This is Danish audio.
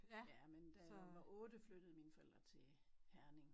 Ja men da jeg var 8 flyttede mine forældre til Herning